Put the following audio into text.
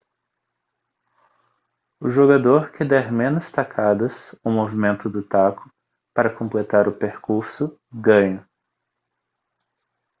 o jogador que der menos tacadas ou movimentos do taco para completar o percurso ganha